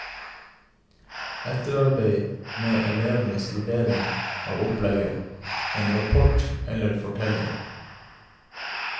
Etterarbeid med elevenes vurdering av opplegget, en rapport eller fortelling.